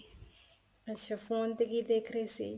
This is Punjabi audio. ਅੱਛਾ ਫੋਨ ਤੇ ਕੀ ਦੇਖ ਰਹੀ ਸੀ